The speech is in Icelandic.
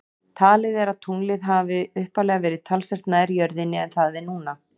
Talið er að tunglið hafi upphaflega verið talsvert nær jörðinni en það er núna.